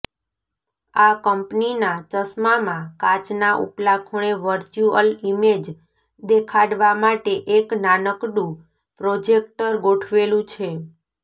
આ કંપનીના ચશ્માંમાં કાચના ઉપલા ખૂણે વર્ચ્યુઅલ ઇમેજ દેખાડવા માટે એક નાનકડું પ્રોજેક્ટર ગોઠવેલું છે